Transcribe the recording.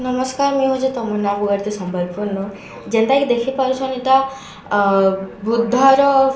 ନମସ୍କାର ମୁଁଇ ହେଉଛେ ତମନ୍ନା ବଗର୍ତ୍ତୀ ସମ୍ବଲପୁର ନୁ ଯେନ୍ତା କି ଦେଖି ପାରୁଛନ ଏଟା ଆ ବୁଦ୍ଧ ର ଏଟା --